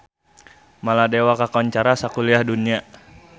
Maladewa kakoncara sakuliah dunya